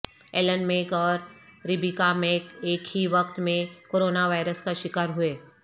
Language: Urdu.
ایلن میک اور ربیکا میک ایک ہی وقت میں کوروناوائرس کا شکار ہوئے